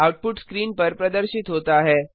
output screen पर प्रदर्शित होता है